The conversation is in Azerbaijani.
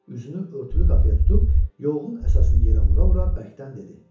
Üzünü örtülü qapıya tutub, yolun əsasını yerə vura-vura bərkdən dedi: